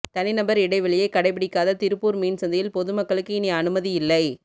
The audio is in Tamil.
தனிநபர் இடைவெளியை கடைபிடிக்காத திருப்பூர் மீன்சந்தையில் பொதுமக்களுக்கு இனி அனுமதி இல்லை